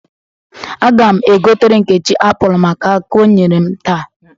Aga m egotere Nkechi apụl maka aka ọ nyere m taa.